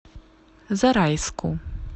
зарайску